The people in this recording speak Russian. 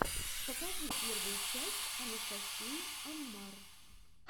покажи первую часть анастасии аммар